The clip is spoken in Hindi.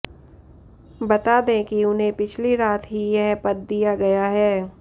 बता दें कि उन्हें पिछली रात ही यह पद दिया गया है